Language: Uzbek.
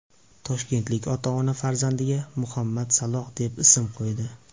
Toshkentlik ota-ona farzandiga Muhammad Saloh deb ism qo‘ydi .